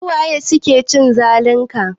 Su waye suke cin zalin ka?